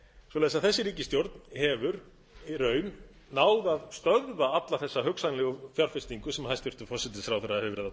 svoleiðis að þessi ríkisstjórn hefur í raun náð að stöðva alla þessa hugsanlegu fjárfestingu sem hæstvirtur forsætisráðherra hefur verið að tala um